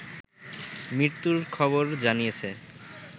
মৃত্যুর খবর জানিয়েছে